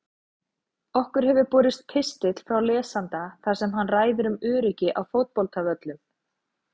Okkur hefur borist pistill frá lesanda þar sem hann ræðir um öryggi á fótboltavöllum.